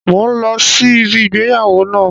Mo ń lọ sí ibi ìgbéyàwó náà